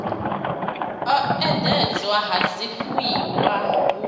u endedzwa ha zwifuiwa hu